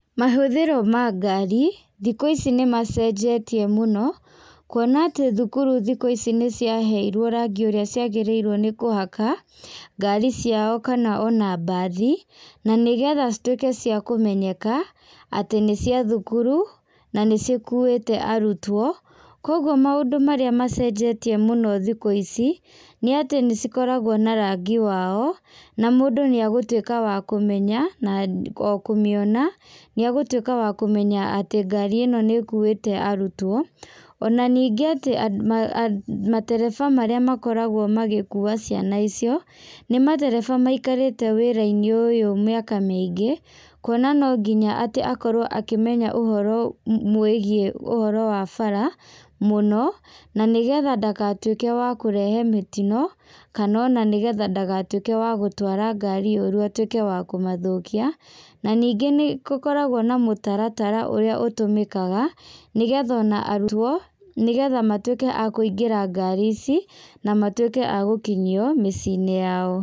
Mahũthĩro ma ngari, thikũ ici nĩ macenjetie mũno, kuona atĩ thukuru nĩ ciraheirwo rangi ũrĩa ciagĩrĩirwo nĩ kũhaka ngari ciao kana o na mbathi. Na nĩgetha cituĩke ciakũmenyeka atĩ nĩ cia thukuru na nĩ cikuĩte arutwo. Koguo maũndũ marĩa macenjetie mũno thikũ ici, nĩ atĩ nĩ cikoragwo na rangi wao, na mũndũ nĩ agũtuĩka wa kũmenya na o kũmĩona. Nĩ egũtuĩka wa kũmenya atĩ ngari ĩno nĩ ĩkuĩte arutwo. Ona ningĩ matereba marĩa makoragwo magĩkua ciana icio nĩ matereba maikarĩte wĩra-inĩ ũyũ mĩaka mĩingĩ, kwona no nginya atĩ akorwo akĩmenya ũhoro mwĩgiĩ ũhoro wa bara mũno, na nigetha ndagatuĩke wa kũrehe mĩtino kana ona nĩgetha ndagatuĩke wa gũtwara ngarĩ ũru atuĩke wa kũmathũkia. Na ningĩ nĩ gũkoragwo na mũtaratara ũrĩa ũtũmikaga nĩgetha ona arutwo, nĩgetha matuĩke a kũingĩra ngari ici na matuĩke a gũkinyio mĩci-inĩ yao.